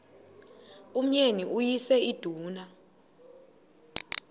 umyeni uyise iduna